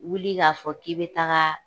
Wuli k'a fɔ k'i be tagaa